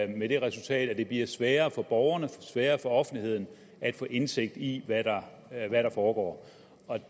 med det resultat at det bliver sværere for borgerne sværere for offentligheden at få indsigt i hvad der foregår